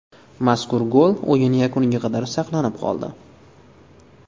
Mazkur gol o‘yin yakuniga qadar saqlanib qoldi.